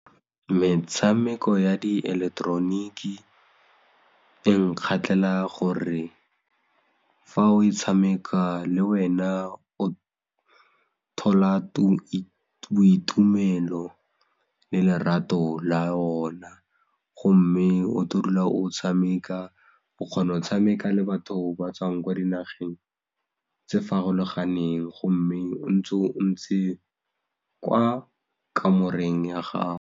Metshameko ya dieleketeroniki e nkgatlhela gore fa o e tshameka le wena o thola le boitumelo le lerato la ona gomme o tlo dula o tshameka, o kgona go tshameka le batho ba tswang kwa dinageng tse farologaneng gomme o ntse o ntse kwa kamoreng ya gago.